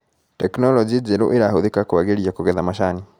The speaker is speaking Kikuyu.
Teknologĩ njerũ ĩrahũthĩka kwagĩria kũgetha macani.